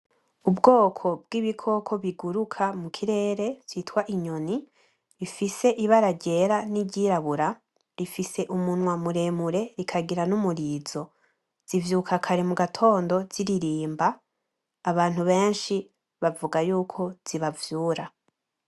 Ubwoko bw'ibikoko biguruka mu kirere vyitwa inyoni bifise ibara ryera n'iryirabura, rifise umunwa muremure rikagira n'umurizo, zivyuka kare mu gitondo ziririmba, abantu beshi bavuga yuko zibavyura.